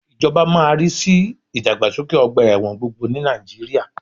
Ìjọba máa má rí sí ìdàgbàsókè ọgbà ẹ̀wọ̀n gbogbo ní Nàìjíríà